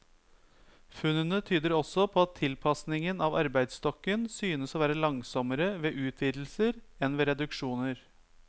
Funnene tyder også på at tilpasningen av arbeidsstokken synes å være langsommere ved utvidelser enn ved reduksjoner.